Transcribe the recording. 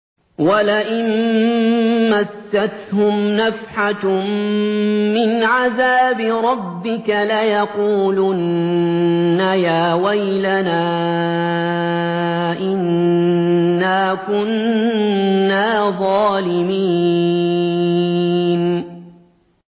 وَلَئِن مَّسَّتْهُمْ نَفْحَةٌ مِّنْ عَذَابِ رَبِّكَ لَيَقُولُنَّ يَا وَيْلَنَا إِنَّا كُنَّا ظَالِمِينَ